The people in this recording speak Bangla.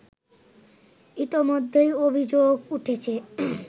ইতোমধ্যেই অভিযোগ উঠেছে